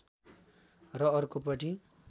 र अर्को पटि